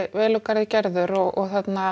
vel úr garði gerður og